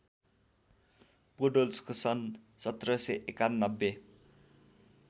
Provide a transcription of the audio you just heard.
पोडोल्स्कको सन् १७९१